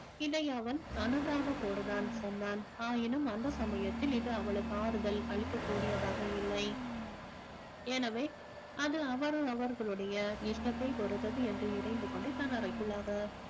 இதை அவன் அனுதாபத்தோடுதான் சொன்னான் ஆயினும் அந்த சமயத்தில் இது அவளுக்கு ஆறுதல் அளிக்கக்கூடியதாக இல்லை எனவே அது அவரவர்களுடைய இஷ்டத்தைப் பொறுத்தது என்று இறைந்து கொண்டு தன் அறைக்குள்ளாக